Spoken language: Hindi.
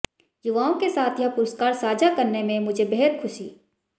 युवाओं के साथ यह पुरस्कार साझा करने में मुझे बेहद खुशी